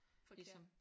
Forkert